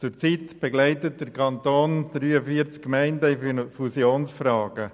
Zurzeit begleitet der Kanton 43 Gemeinden in Fusionsfragen.